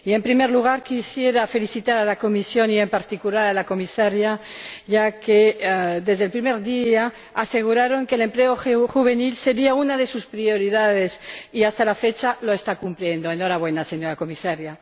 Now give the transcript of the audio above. Señor Presidente, en primer lugar, quisiera felicitar a la Comisión y, en particular, a la Comisaria, ya que desde el primer día aseguraron que el empleo juvenil sería una de sus prioridades y, hasta la fecha, lo están cumpliendo ¡enhorabuena, señora Comisaria!